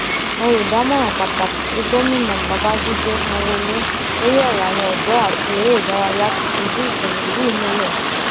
olùdámọràn pàtàkì sí gómìnà babàjídé sanwóolu lórí ọrọ àwọn ọdọ àti eré ìdárayá ti fìdí ìṣẹlẹ yìí múlẹ